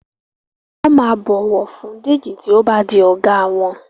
won má bó ọwọ fún Deji tí o bá di oga wón